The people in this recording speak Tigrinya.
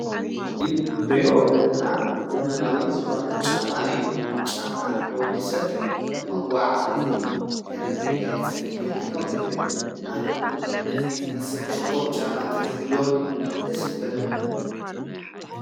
እዚ ንሪኦ ዘለና ዘመናዊ ዝኾነ ጫማ እዩ ጫማ ንወዲ ሰብ ከም መጐዓ ዓዝን ከም መጋይጽን ኮይኔ የግልግል ኣነውን ነዝ ዝመስል ጽቡቕ ጫማ ተዝህልወኒ ደስምበለኒ።